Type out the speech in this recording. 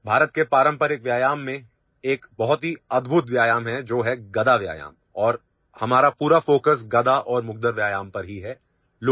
There is a very amazing exercise in the traditional exercises of India which is 'Gada Exercise' and our entire focus is on Mace and Mugdar exercise only